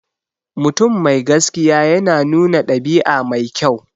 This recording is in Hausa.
Mutum mai gaskiya yana nuna ɗabi'a mai kyau.